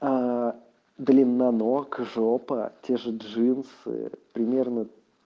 аа длина ног жопа те же джинсы примерно